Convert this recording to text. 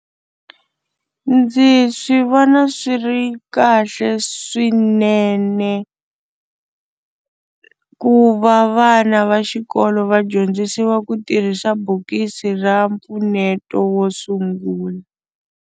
Ndzi swi vona swi ri kahle swinene ku va vana va xikolo va dyondzisiwa ku tirhisa bokisi ra mpfuneto wo sungula.